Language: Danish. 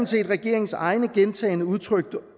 set regeringens eget gentagne gange udtrykte